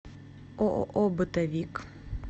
ооо бытовик